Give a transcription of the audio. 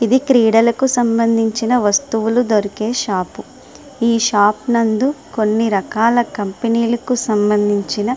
ఇది క్రీడలకు సంబంధించిన వస్తువులు దొరికే షాపు ఈ షాపు నందు కొన్ని రకాల కంపెనీలకు సంబంధించిన --